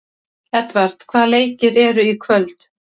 Edvard, hvaða leikir eru í kvöld?